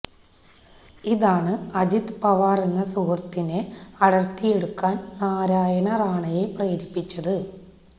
ഇതാണ് അജിത് പവാറെന്ന സുഹൃത്തിനെ അടര്ത്തിയെടുക്കാന് നാരായണ റാണയെ പ്രേരിപ്പിച്ചത്